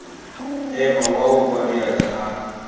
ema wa opa diatla ha